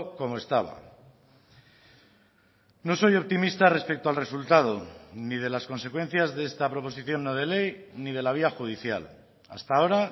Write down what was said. como estaba no soy optimista respecto al resultado ni de las consecuencias de esta proposición no de ley ni de la vía judicial hasta ahora